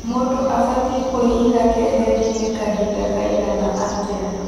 Mũndũ abatiĩ kũĩiga keheri-inĩ kahinda kaigana atĩa?